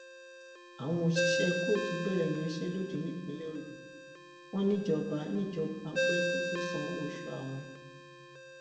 àwọn òṣìṣẹ kóòtù bẹrẹ ìyanṣẹlódì nípínlẹ ọyọ wọn níjọba ń níjọba ń pè kó tóó sanwó oṣù àwọn